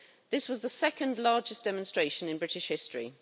This was the second largest demonstration in British history.